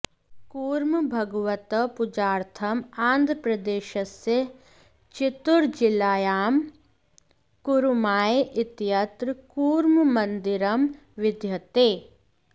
कूर्मभगवतः पूजार्थम् आन्ध्रप्रदेशस्य चित्तुरजिल्लायां कुरुमाय इत्यत्र कूर्ममन्दिरं विद्यते